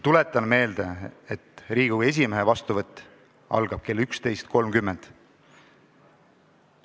Tuletan ka meelde, et Riigikogu esimehe vastuvõtt algab kell 11.30.